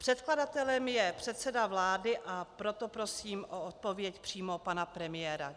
Předkladatelem je předseda vlády, a proto prosím o odpověď přímo pana premiéra.